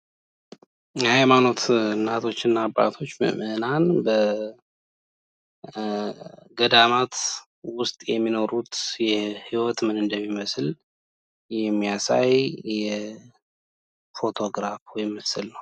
የሃይማኖት እናቶች እና አባቶች በገዳማት ዉስጥ ምን አይነት ሂዎት እንደሚኖሩ የሚያሳይ ምስል ነው።